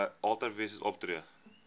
ultra vires opgetree